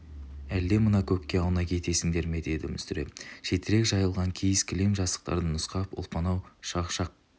әлде мына көкке аунай кетесіңдер ме деді мүсіреп шетірек жайылған киіз кілем жастықтарды нұсқап ұлпан-ау шақшақ